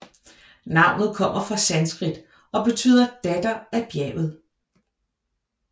Navnet kommer fra sanskrit og betyder datter af bjerget